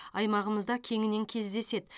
аймағымызда кеңінен кездеседі